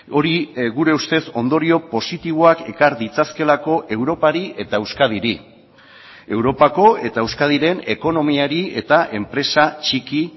hori gure ustez ondorio positiboak ekar ditzakeelako europari eta euskadiri europako eta euskadiren ekonomiari eta enpresa txiki